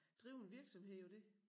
Drive en virksomhed på det